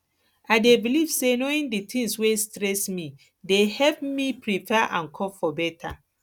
i dey believe say knowing di tings wey stress me dey help me prepare and cope beta